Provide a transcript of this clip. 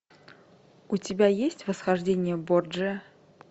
у тебя есть восхождение борджиа